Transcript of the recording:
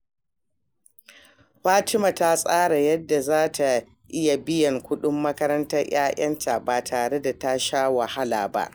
Fatima ta tsara yadda za ta iya biyan kudin makarantar ‘ya’yanta ba tare da ta sha wahala ba.